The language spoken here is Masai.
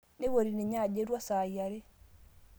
Neipoti ninye ajo etua saai are